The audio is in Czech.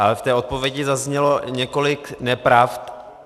Ale v té odpovědi zaznělo několik nepravd.